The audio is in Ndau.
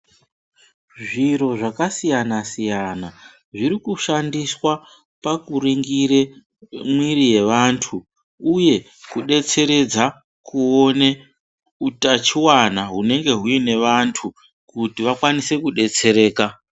Zviro zvakasiyana-siyana ,zviri kushandiswa pakuringire ,mwiri yevantu, uye kudetseredza kuone utachiwana hunenge huine vantu, kuti vakwanise kudetsereka.